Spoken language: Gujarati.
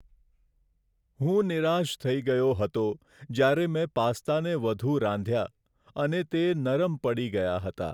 હું નિરાશ થઇ ગયો હતો જ્યારે મેં પાસ્તાને વધુ રાંધ્યા, અને તે નરમ પડી ગયા હતો.